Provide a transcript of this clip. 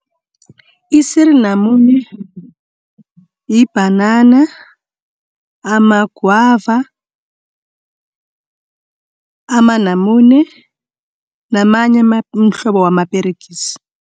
Isiri namune, yibhanana, amagwava, amanamune namanye umhlobo wamaperegisi.